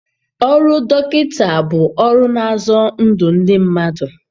Ọrụ dọkịta bụ ọrụ na-azọ ndụ ndị mmadụ.